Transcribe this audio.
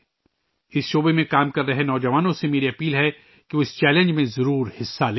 اس شعبے میں کام کرنے والے نوجوانوں سے میں درخواست کرتا ہوں کہ وہ اس چیلنج میں ضرور حصہ لیں